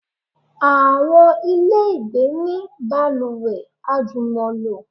Àwọn ilé ìgbé ní balùwẹ̀ àjùmọ̀lò.